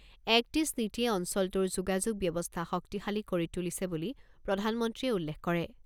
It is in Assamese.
এক্ট ইষ্ট নীতিয়ে অঞ্চলটোৰ যোগাযোগ ব্যৱস্থা শক্তিশালী কৰি তুলিছে বুলি প্ৰধানমন্ত্ৰীয়ে উল্লেখ কৰে।